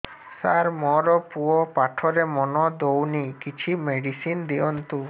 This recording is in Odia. ସାର ମୋର ପୁଅ ପାଠରେ ମନ ଦଉନି କିଛି ମେଡିସିନ ଦିଅନ୍ତୁ